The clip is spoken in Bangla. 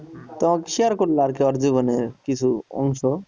তো share করলো আরকি ওর জীবনের কিছু অংশ